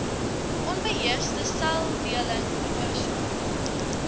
onbeheerste seldeling veroorsaak